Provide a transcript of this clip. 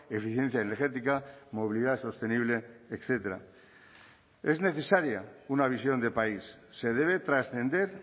eficiencia energética movilidad sostenible etcétera es necesaria una visión de país se debe trascender